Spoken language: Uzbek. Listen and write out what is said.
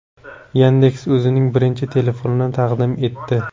Yandex o‘zining birinchi telefonini taqdim etdi.